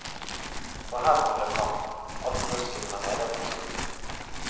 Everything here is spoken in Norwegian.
For her kom det fram, alt rusket fra nederste skuff.